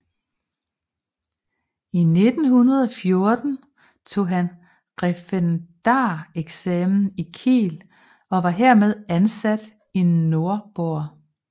I 1914 tog han referendareksamen i Kiel og var herefter ansat i Nordborg